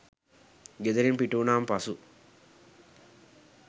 ගෙදරින් පිටවුණාම පසු